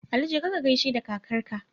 Ali jeka kagaishe da kakar ka